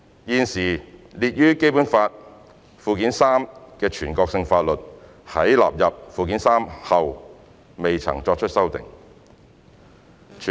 現時列於《基本法》附件三的全國性法律在納入附件三後未曾作出修訂。